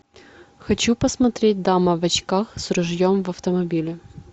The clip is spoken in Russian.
хочу посмотреть дама в очках с ружьем в автомобиле